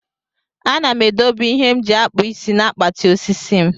Ana m edobe ihe m ji akpụ isi na akpati osisi m.